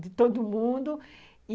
De todo mundo e